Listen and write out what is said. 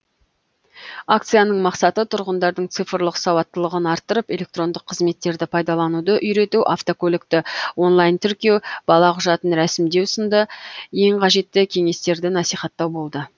акцияның мақсаты тұрғындардың цифрлық сауаттылығын арттырып электрондық қызметтерді пайдалануды үйрету автокөлікті онлайн тіркеу бала құжатын рәсімдеу сынды ең қажетті кеңестерді насихаттау болды